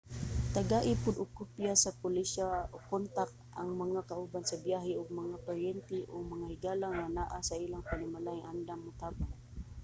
tagai pod og kopya sa polisiya/kontak ang mga kauban sa biyahe ug ang mga paryente o mga higala nga naa sa ilang panimalay nga andam motabang